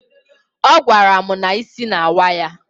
Ọ gwara m na isi na-awa ya.